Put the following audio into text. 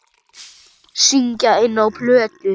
Syngja inná plötu.